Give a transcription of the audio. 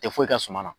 Tɛ foyi kɛ suma na